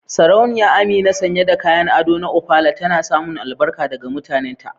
Sarauniya Amina, sanye da kayan ado na Ofala, tana samun albarka daga mutanenta.